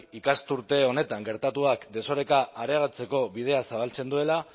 ikasturte honetan gertatuak desoreka areagotzeko bidea zabaltzen duela